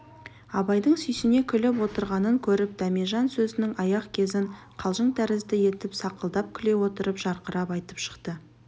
абайдың сүйсіне күліп отырғанын көріп дәмежан сөзінің аяқ кезін қалжың тәрізді етіп сақылдап күле отырып жарқырап айтып шықты